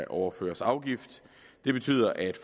overføres afgift det betyder at